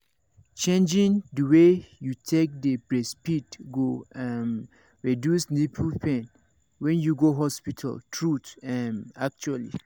changing the way wey you take dey breastfeed go um reduce nipple pain when you go hospital truth um actually